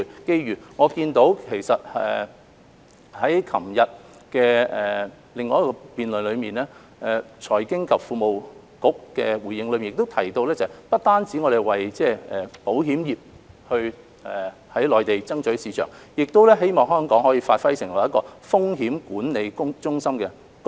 就我所見，在昨天的另一場辯論中，財經事務及庫務局的回應不單提到要為保險業在內地爭取市場，亦希望香港可發揮風險管理中心的功能。